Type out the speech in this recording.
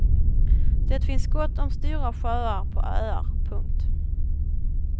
Det finns gott om stora sjöar på öar. punkt